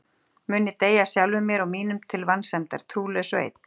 Mun ég deyja sjálfum mér og mínum til vansæmdar, trúlaus og einn?